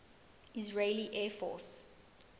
israeli air force